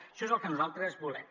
això és el que nosaltres volem